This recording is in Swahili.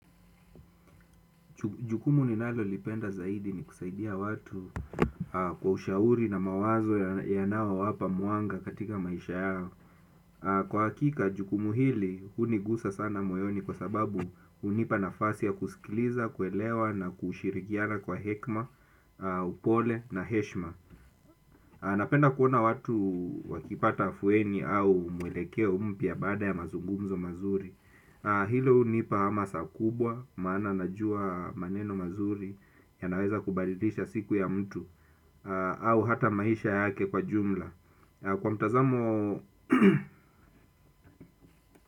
Jukumu ninalo lipenda zaidi ni kusaidia watu kwa ushauri na mawazo yanayowapa mwanga katika maisha yao. Kwa hakika jukumu hili, hunigusa sana moyoni kwa sababu hunipa nafasi ya kusikiliza, kuelewa na kushirikiana kwa hekima, upole na heshima. Napenda kuona watu wakipata afueni au mwelekeo mpya baada ya mazungumzo mazuri. Hilo hunipa hamasa kubwa, maana najua maneno mazuri yanaweza kubalidisha siku ya mtu. Au hata maisha yake kwa jumla kwa mtazamo.